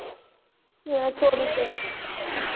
તું લઇ જાય છે કે નહિ લઇ જતી micro